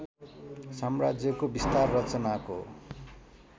साम्राज्यको विस्तार रचनाको